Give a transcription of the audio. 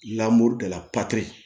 la